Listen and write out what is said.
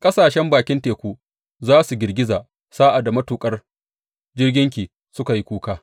Ƙasashen bakin teku za su girgiza sa’ad da matuƙan jirginki suka yi kuka.